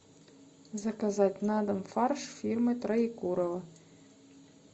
заказать на дом фарш фирмы троекурово